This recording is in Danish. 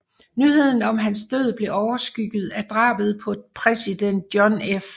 Nyheden om hans død blev overskygget af drabet på præsident John F